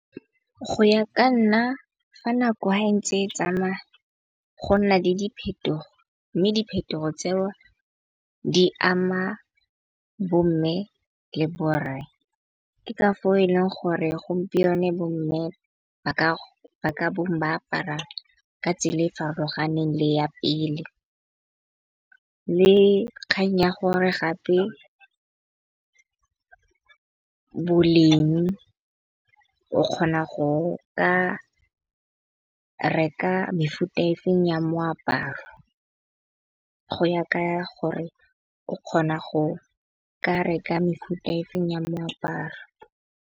Go ya ka nna fa nako ha e ntse e tsamaya, go nna le diphetogo. Mme diphetogo tseo di ama bo mme le borre. Ke ka fao e leng gore gompieno bo mme ba ka bong ba apara ka tsela e farologaneng le ya pele. Le kgang ya gore gape boleng, o kgona go ka reka mefuta efeng ya moaparo. Go ya ka gore o kgona go ka reka mefuta efeng ya moaparo